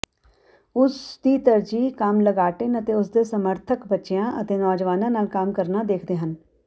ਉਸਦੀ ਤਰਜੀਹ ਕੰਮ ਲਗਾਟਿਨ ਅਤੇ ਉਸਦੇ ਸਮਰਥਕ ਬੱਚਿਆਂ ਅਤੇ ਨੌਜਵਾਨਾਂ ਨਾਲ ਕੰਮ ਕਰਨਾ ਦੇਖਦੇ ਹਨ